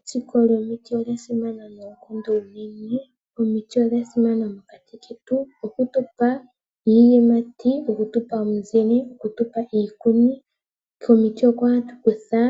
Etsiko lyomiti olya simana noonkondo unene. Omiti odha simana mokati ketu shaashi ohadhi tupe iiyimati, omizile, iikuni . Komiti oko hatu kutha